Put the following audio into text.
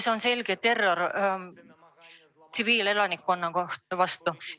See on selge terror tsiviilelanikkonna vastu.